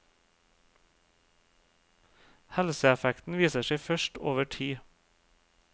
Helseeffekten viser seg først over tid.